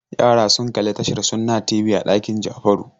Yara sun kalli tashar Sunna TV a ɗakin Jafaru.